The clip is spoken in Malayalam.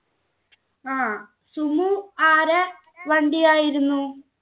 ആ sumo ആരാ വണ്ടി ആയിരുന്നു